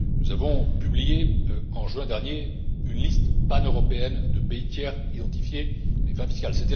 jeu. Nous avons publié en juin dernier une liste paneuropéenne de pays tiers identifiés à des fins fiscales.